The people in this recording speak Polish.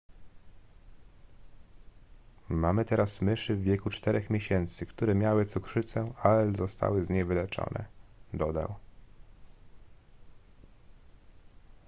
mamy teraz myszy w wieku 4 miesięcy które miały cukrzycę ale zostały z niej wyleczone dodał